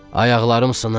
Ayaqlarım sınır.